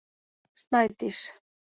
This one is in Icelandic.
Snædís